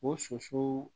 O sosow